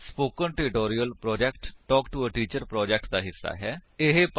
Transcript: spoken tutorial project talk to a teacher project ਦਾ ਹਿੱਸਾ ਹੈ